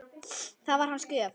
Það var hans gjöf.